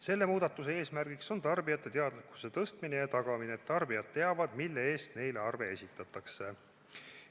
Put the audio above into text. Selle muudatuse eesmärk on tarbijate teadlikkuse tõstmine ja tagamine, et tarbijad teavad, mille eest neile arve esitatakse.